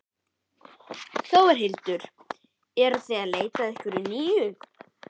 Þórhildur: Eruð þið að leita að einhverju nýju?